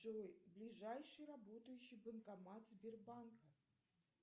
джой ближайший работающий банкомат сбербанка